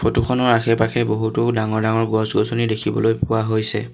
Photo খনৰ আশে পাশে বহুতো ডাঙৰ ডাঙৰ গছ গছনি দেখিবলৈ পোৱা হৈছে।